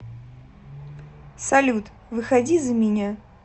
салют выходи за меня